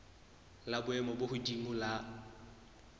la boemo bo hodimo la